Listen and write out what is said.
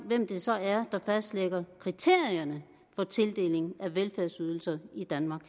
hvem det så er der fastlægger kriterierne for tildeling af velfærdsydelser i danmark